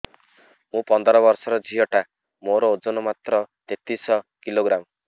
ମୁ ପନ୍ଦର ବର୍ଷ ର ଝିଅ ଟା ମୋର ଓଜନ ମାତ୍ର ତେତିଶ କିଲୋଗ୍ରାମ